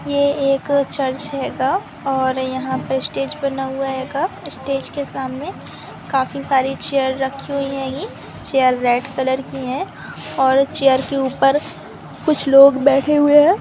ये एक चर्च हैगा और यहां पे स्टेज बना हुआ हैगा स्टेज के सामने काफी सारी चेयर रखी हुई है चेयर रेड कलर की है और चेयर के ऊपर कुछ लोग बैठे हुए है।